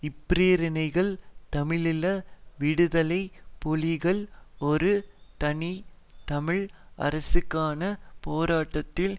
இப்பிரேரணைகள் தமிழீழ விடுதலை புலிகள் ஒரு தனி தமிழ் அரசுக்கான போராட்டத்தில்